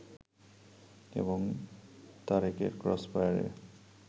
এবং তারেকের ক্রসফায়ারে